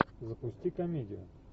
запусти комедию